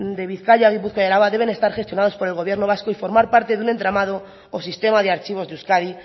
de bizkaia gipuzkoa y áraba deben estar gestionados por el gobierno vasco y formar parte de un entramado o sistema de archivos de euskadi